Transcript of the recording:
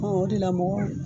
Ɔ o de la mɔgɔ